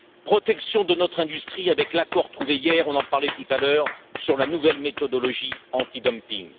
protection de notre industrie avec l'accord trouvé hier on en parlait tout à l'heure sur la nouvelle méthodologie antidumping.